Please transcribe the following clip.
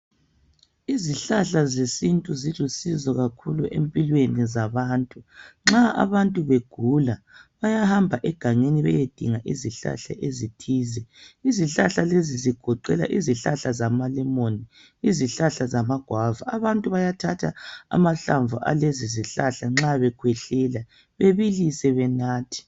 Izihlahla zesintu zisulisizo kakhulu empilweni zabantu .Nxa abantu begula bayahamba egangeni betedinga izihlahla ezithize .Izihlahla lezi zigoqela izihlahla zamalemoni, izihlahla zamagwava. Abantu bayathatha amahlamvu alezi zihlahla nxa bekhwehlela bebilise benathe .